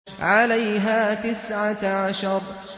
عَلَيْهَا تِسْعَةَ عَشَرَ